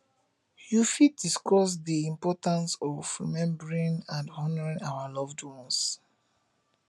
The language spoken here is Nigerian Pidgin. you fit discuss dey importance importance of remembering and honoring our loved ones